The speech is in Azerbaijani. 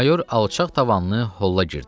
Mayor alçaq tavanlı holla girdi.